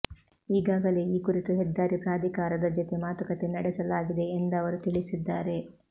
ಈಗಾಗಲೇ ಈ ಕುರಿತು ಹೆದ್ದಾರಿ ಪ್ರಾಧಿಕಾರದ ಜೊತೆ ಮಾತು ಕತೆ ನಡೆಸಲಾಗಿದೆ ಎಂದವರು ತಿಳಿಸಿದ್ದಾರೆ